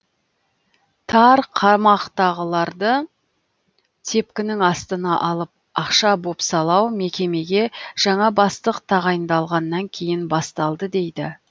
тар қамақтағыларды тепкінің астына алып ақша бопсалау мекемеге жаңа бастық тағайындалғаннан кейін басталды дейді